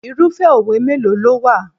Irúfẹ́ òwe mélòó ló wà?